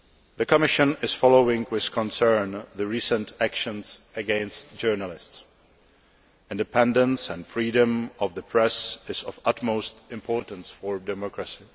The Commission is following with concern the recent actions against journalists. Independence and freedom of the press is of utmost importance for democracy.